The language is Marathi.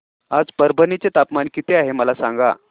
आज परभणी चे तापमान किती आहे मला सांगा